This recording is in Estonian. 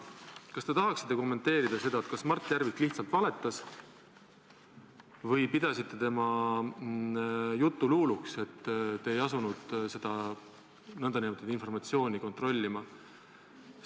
Kas te tahaksite kommenteerida, kas Mart Järvik lihtsalt valetas või pidasite tema juttu luuluks, et te ei asunud seda nn informatsiooni kontrollima?